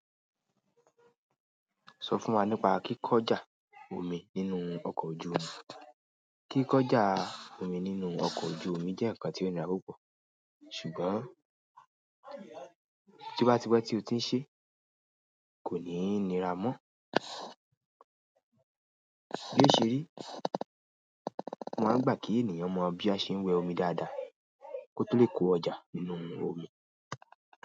Sọ fún wa nípa kíkọ́ ọjà omi nínú ọkọ̀ ojú omi. Kíkọ́ ọjà omi nínú ọkọ̀ ojú omi jẹ́ ǹkan tí ó nira púpọ̀, ṣùgbọ́n tí ó bá ti pé tí o ti ń ṣe, kò ní nira mọ́. Léṣe rí, mo máa ń gbà kí ènìyàn mọ bí a ṣe ń wẹ omi dáadáa kó tó lè kó ọjà nínú omi.